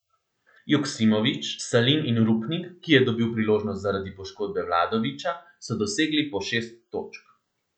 Joksimović, Salin in Rupnik, ki je dobil priložnost zaradi poškodbe Vladovića, so dosegli po šest točk.